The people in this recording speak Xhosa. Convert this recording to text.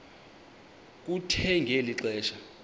kuthe ngeli xesha